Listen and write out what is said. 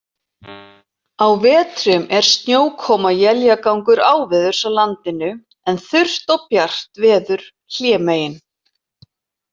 Á vetrum er snjókoma og éljagangur áveðurs á landinu, en þurrt og bjart veður hlémegin.